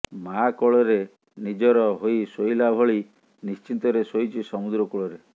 ମାଆ କୋଳରେ ନିଡର ହୋଇ ଶୋଇଲା ଭଳି ନିଶ୍ଚିନ୍ତରେ ଶୋଇଛି ସମୁଦ୍ର କୋଳରେ